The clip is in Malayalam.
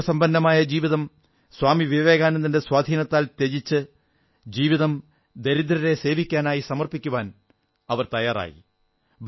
സുഖസമ്പന്നമായ സ്വന്തം ജീവിതം സ്വാമി വിവേകാനന്ദന്റെ സ്വാധീനത്താൽ ത്യജിച്ച് ജീവിതം ദരിദ്രരെ സേവിക്കാനായി സമർപ്പിക്കുവാൻ അവർ തയ്യാറായി